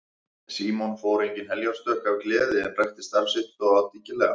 Símon fór engin heljarstökk af gleði en rækti starf sitt þó dyggilega.